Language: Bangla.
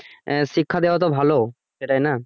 আহ শিক্ষা দেয়া তো ভালো তাইনা।